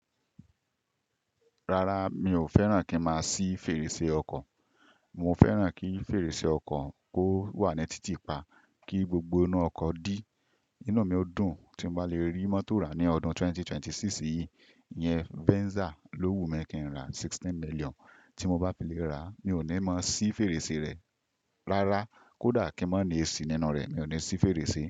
Rárá, mi ò fẹ́ràn kí n máa ṣí fèrèsé ọkọ̀. Mo fẹ́ràn kí fèrèsé ọkọ̀ kó wà ní títì pa kí gbogbo inú ọkọ̀ dí. Inú mi ó dùn tí n bá lè rí mọ́tò rà ní ọdún 2026 yìí. Iyẹn Venza lówù mí kí n rà 16 million. Tí mo bá fi lè rà, mi ò ní mọ ṣí fèrèsé rẹ̀. Rárá, kódà kí n má ní AC nínú rẹ̀, mi ò ní ṣí fèrèsé.